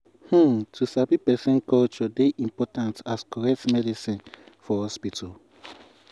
wait- ummm to sabi person culture dey important as correct medicine for hospital.